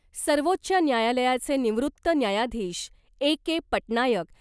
सर्वोच्च न्यायालयाचे निवृत्त न्यायाधीश ए के पटनायक